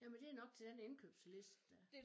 Jamen det nok til den indkøbsliste der